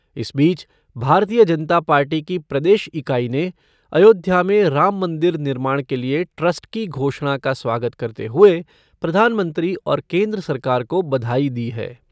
इस बीच, भारतीय जनता पार्टी की प्रदेश इकाई ने अयोध्या में राम मंदिर निर्माण के लिए ट्रस्ट की घोषणा का स्वागत करते हुए प्रधानमंत्री और केन्द्र सरकार को बधाई दी है।